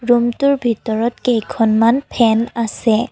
ৰুমটোৰ ভিতৰত কেইখনমান ফেন আছে।